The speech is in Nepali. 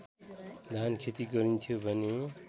धानखेती गरिन्थ्यो भने